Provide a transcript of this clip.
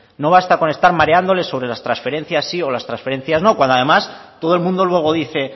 no basta con estar mareándoles con las transferencias sí o las transferencias no cuando además todo el mundo luego dice